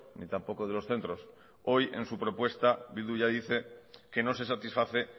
ni tampoco de los centros hoy en su propuesta bildu ya dice que no se satisface